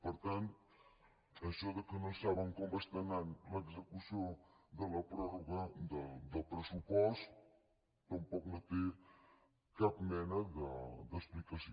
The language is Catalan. per tant això que no saben com va l’execució de la pròrroga del pressupost tampoc no té cap mena d’explicació